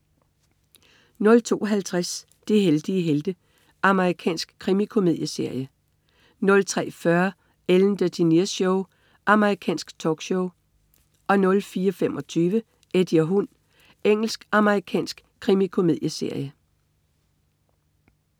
02.50 De heldige helte. Amerikansk krimikomedieserie 03.40 Ellen DeGeneres Show. Amerikansk talkshow 04.25 Eddie og hund. Engelsk-amerikansk krimikomedieserie